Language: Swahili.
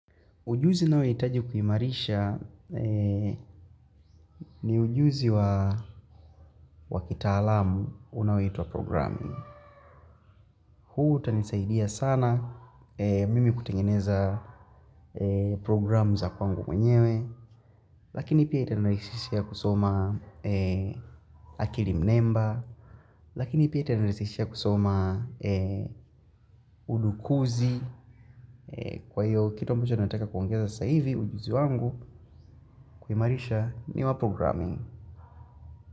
Ujuzi naohitaji kuimarisha ni ujuzi wa wakitaalam unaoitwa wa programming. Huu utanisaidia sana mimi kutengeneza programu za kwangu mwenyewe, lakini pia itanarishishia kusoma akili mnemba, lakini pia itanirahisishia kusoma udukuzi. Kwa hiyo, kitu ambacho nataka kuongeza sasa hivi ujuzi wangu kuimarisha ni wa programing.